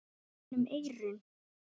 gegnum eyrun.